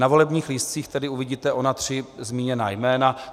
Na volebních lístcích tedy uvidíte ona tři zmíněná jména.